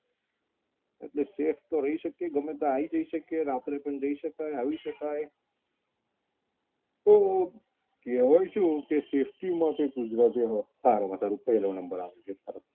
એટલે safe તો રહી શકીએ ગમે ત્યારે આવી જઈ શકીએ રાત્રે પણ જઈ શકાય આવી શકાય તો કહેવાય શું કહેશે safety માટે ગુજરાતનો સારો એવો number આવે